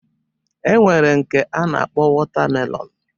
E nwere nke a na-akpọ wọta melọnu